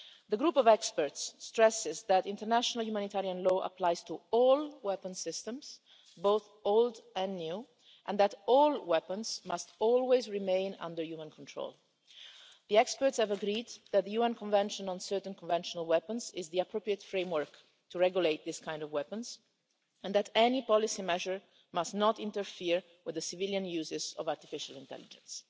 The group of experts stresses that international humanitarian law applies to all weapon systems, both old and new, and that all weapons must always remain under human control. The experts have agreed that the UN Convention on Certain Conventional Weapons is the appropriate framework to regulate weapons of this kind and that any policy measure must not interfere with the civilian uses of artificial intelligence.